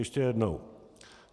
Ještě jednou.